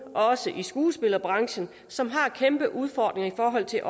også i skuespillerbranchen som har kæmpe udfordringer i forhold til